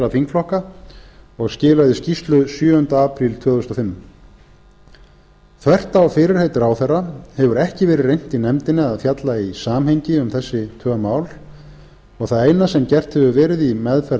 þingflokka og skilaði skýrslu sjöunda apríl tvö þúsund og fimm þvert á fyrirheit ráðherra hefur ekki verið reynt í nefndinni að fjalla í samhengi um þessi tvö mál og það eina sem gert hefur verið í meðferð